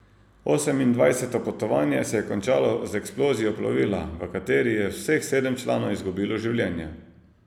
Osemindvajseto potovanje se je končalo z eksplozijo plovila, v kateri je vseh sedem članov izgubilo življenje.